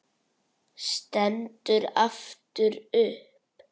Stendur aftur upp.